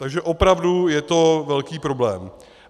Takže opravdu je to velký problém.